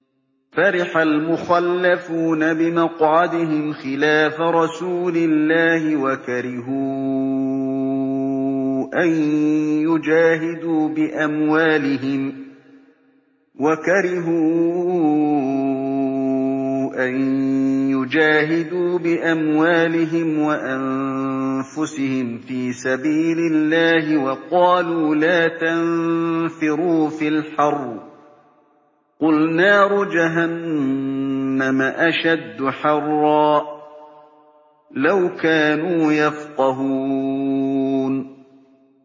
فَرِحَ الْمُخَلَّفُونَ بِمَقْعَدِهِمْ خِلَافَ رَسُولِ اللَّهِ وَكَرِهُوا أَن يُجَاهِدُوا بِأَمْوَالِهِمْ وَأَنفُسِهِمْ فِي سَبِيلِ اللَّهِ وَقَالُوا لَا تَنفِرُوا فِي الْحَرِّ ۗ قُلْ نَارُ جَهَنَّمَ أَشَدُّ حَرًّا ۚ لَّوْ كَانُوا يَفْقَهُونَ